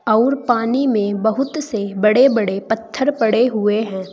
आउर पानी में बहुत से बड़े बड़े पत्थर पड़े हुए हैं।